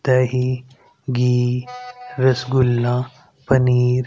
दही घी रसगुल्ला पनीर--